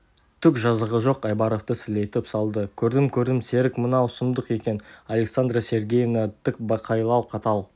түк жазығы жоқ айбаровты сілейтіп салды көрдім көрдім серік мынау сұмдық екен александра сергеевна тікбақайлау қатал